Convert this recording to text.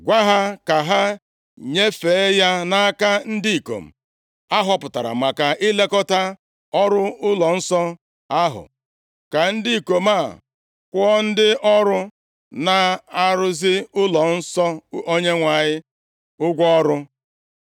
Gwa ha ka ha nyefee ya nʼaka ndị ikom ahọpụtara maka ilekọta ọrụ nʼụlọnsọ ahụ. Ka ndị ikom a kwụọ ndị ọrụ na-arụzi ụlọnsọ Onyenwe anyị ụgwọ ọrụ,